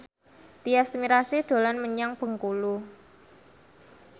Tyas Mirasih dolan menyang Bengkulu